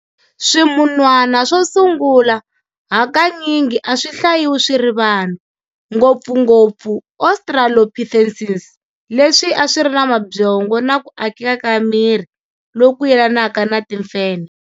Swimunhwana swo sungula, hakanyingi a swi hlayiwi swiri vanhu-ngopfungopfu australopithecines, leswi a swiri namabyongo na kuakeka ka miri loku yelanaka na timfenhe.